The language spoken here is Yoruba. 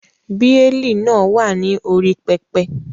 Bí Élì náà wà ní orí pẹpẹ.